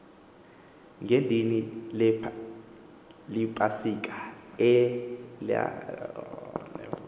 ngedini lepasika elalisenziwa